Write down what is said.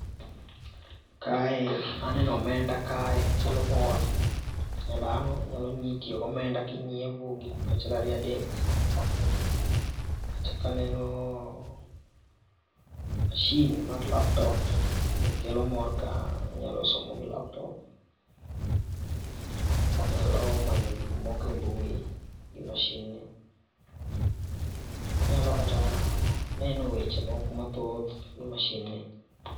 Kae aneno omenda kae kelo mor ,dhano nyalo inyalo tiyo gi omenda kinyiepo achiel ariyo adek achako aneno machine mar laptop kelo mor kae inyalo somo gi laptop. Inyalo manyo gik moko e mbui gi machine[cd] ni inyalo kata neno weche moko nathoth gi machine ni.